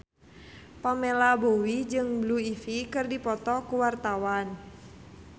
Pamela Bowie jeung Blue Ivy keur dipoto ku wartawan